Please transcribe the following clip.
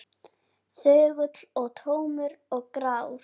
Þögull og tómur og grár.